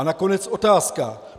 A nakonec otázka.